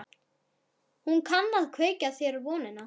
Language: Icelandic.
Hún kann að kveikja þér vonina.